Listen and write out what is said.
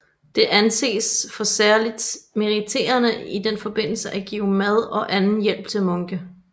Det anses for særligt meriterende i den forbindelse at give mad og anden hjælp til munke